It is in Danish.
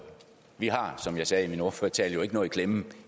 vi har som jeg sagde i min ordførertale jo ikke noget i klemme